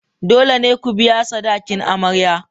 Dole ne ku biya sadakin amarya.